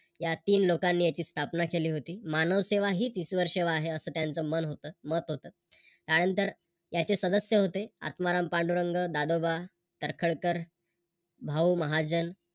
या तीन लोकांनी याची स्थापना केली होती. मानवसेवा हीच ईश्वर सेवा आहे असं त्यांचं मन होत मत होत. त्यानंतर त्याचे सदस्य होते आत्माराम पांडुरंग, दादोबा तळखरकर, भाऊ महाजन